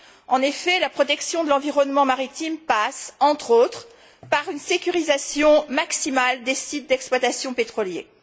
En effet, la protection de l'environnement maritime passe, entre autres, par une sécurisation maximale des sites d'exploitation pétrolière.